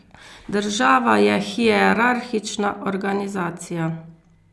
Država je hierarhična organizacija.